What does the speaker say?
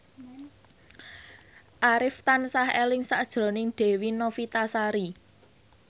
Arif tansah eling sakjroning Dewi Novitasari